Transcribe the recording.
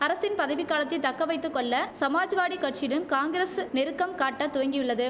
அரசின் பதவி காலத்தை தக்க வைத்து கொள்ள சமாஜ்வாடி கட்சியுடன் காங்கிரஸ் நெருக்கம் காட்ட துவங்கியுள்ளது